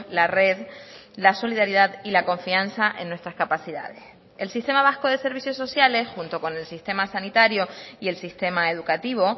la red la solidaridad y la confianza en nuestras capacidades el sistema vasco de servicios sociales junto con el sistema sanitario y el sistema educativo